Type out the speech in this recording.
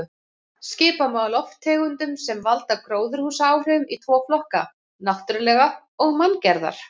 Skipta má lofttegundum sem valda gróðurhúsaáhrifum í tvo flokka: náttúrulegar og manngerðar.